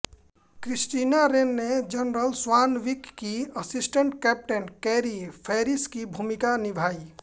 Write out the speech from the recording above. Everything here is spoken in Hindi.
क्रिस्टीना रेन ने जनरल स्वानविक की असिस्टेंट कैप्टन कैरी फैरिस की भूमिका निभाई